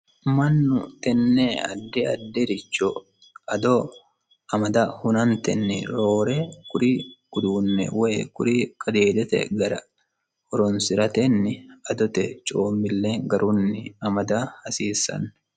Mannu tenne addi addi richo ado amada hunanittenni roore kuri uduunne woy kuri qadiidete gara horonisiratenni adote coomille garunni amada hasiisanno